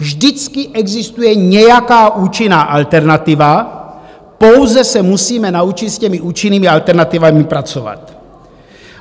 Vždycky existuje nějaká účinná alternativa, pouze se musíme naučit s těmi účinnými alternativami pracovat.